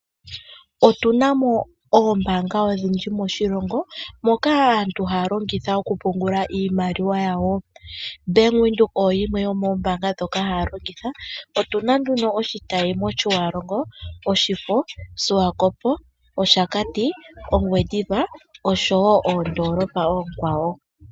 Otunamo oombanga odhindji moshilongo moka aantu haya longitha okupungula iimaliwa yawo. Otunamo ombanga yaVenduka ndjoka hayi longithwa. Otuna iitayi moshiwalongo, oshakati, Ongwendiva osho woo moondolopa oonkwawo.